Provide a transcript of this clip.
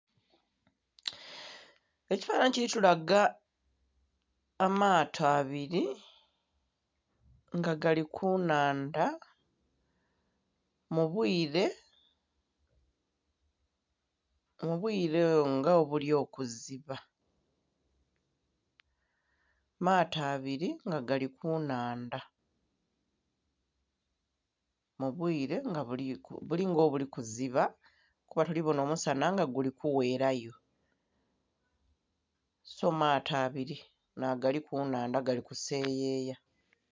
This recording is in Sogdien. Ekifanhanhi kili tulaga amaato abiri nga gali ku nnhandha mu bwire, mu bwire nga obuli okuziba... maato abiri nga gali ku nnhandha... mu bwire nga buli...buli nga obuli kuziba kuba tuli bona omusana nga guli kugherayo. So...maato abiri nagali ku nnhandha gali kuseyeya.